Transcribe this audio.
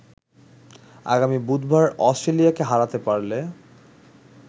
আগামী বুধবার অস্ট্রেলিয়াকে হারাতে পারলে